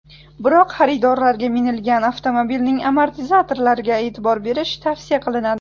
Biroq xaridorlarga minilgan avtomobilning amortizatorlariga e’tibor berish tavsiya qilinadi.